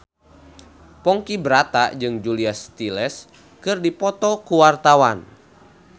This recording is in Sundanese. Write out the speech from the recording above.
Ponky Brata jeung Julia Stiles keur dipoto ku wartawan